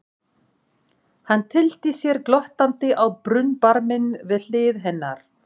Hann tyllti sér glottandi á brunnbarminn við hlið hennar.